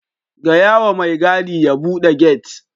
Gayawa mai gadi ya bude gate.